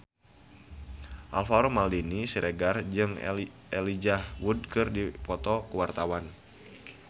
Alvaro Maldini Siregar jeung Elijah Wood keur dipoto ku wartawan